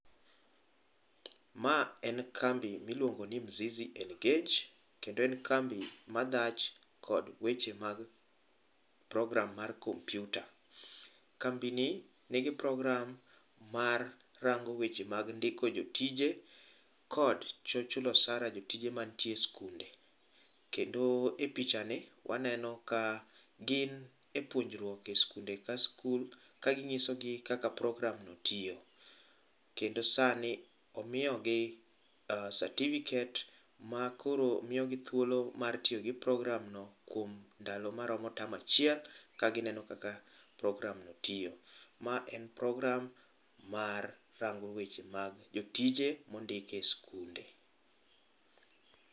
Ma en kambi miluongo ni Mzizi Engage kendo en kambi madhach kod weche mag program mar komyuta. Kambi nigi program marango weche mag chulo jotije kod chulo osara jotije mantie e skunde. Kendo e pichani waneno ka gin e puonjruok e skunde ka skul ka ginyiso gi kaka program no tiyo kendo sani omiyogi certicifate makoro miyogi thuolo mar tiyo gi program no kuom ndalo maromo term achiel mondo ka gineno kaka program no tiyo . Ma en program marango weche mag jotije mondike skunde